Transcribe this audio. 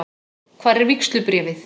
Hvar er vígslubréfið?